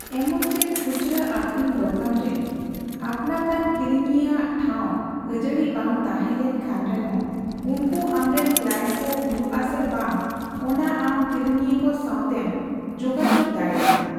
ᱮᱢᱚᱱᱪᱮᱫ ᱠᱷᱩᱪᱨᱟᱹ ᱟᱹᱠᱷᱨᱤᱧ ᱫᱚᱠᱟᱱ ᱨᱮ ᱟᱹᱯᱱᱟᱹᱛᱟᱱ ᱠᱤᱨᱤᱧᱤᱭᱟᱹ ᱟᱜ ᱴᱷᱟᱣ ᱟᱡᱟᱹᱲᱤ ᱵᱟᱝ ᱛᱟᱸᱦᱮ ᱞᱮᱱ ᱨᱮᱦᱚᱸ, ᱩᱱᱠᱩ ᱟᱢᱨᱮᱱ ᱠᱞᱟᱭᱮᱱᱴ ᱠᱚ ᱦᱩᱭᱩᱜ ᱟᱥᱮ ᱵᱟᱝ ᱚᱱᱟ ᱟᱢ ᱠᱤᱨᱤᱧᱤᱭᱟᱹᱠᱚ ᱥᱟᱣᱛᱮᱢ ᱡᱳᱜᱟᱡᱚᱜ ᱫᱟᱲᱮᱭᱟᱜᱼᱟ ᱾